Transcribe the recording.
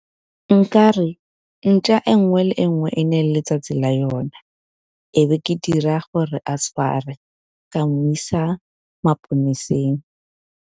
Nka re ntšwa e nngwe le e nngwe e ne e letsatsi la yona, e be ke dira gore a tshwarwe ka mo isa maponeseng.